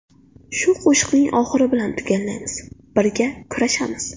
Shu qo‘shiqning oxiri bilan tugallaymiz: Birga kurashamiz!